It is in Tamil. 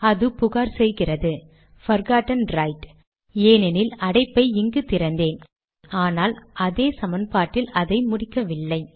அது புகார் செய்கிறது போர்கோட்டன் ரைட் ஏனெனில் அடைப்பை இங்கு திறந்தேன் ஆனால் அதே சமன்பாட்டில் அதை முடிக்கவில்லை